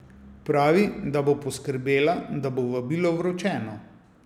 Pravi, da bo poskrbela, da bo vabilo vročeno.